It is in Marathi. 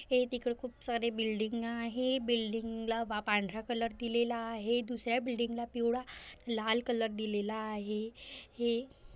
हे तिकडं खूप सारे बिल्डिंग आहे बिल्डिंग ला वा पांढरा कलर दिलेला आहे दुसर्‍या बिल्डिंगला पिवळा लाल कलर दिलेला आहे हे --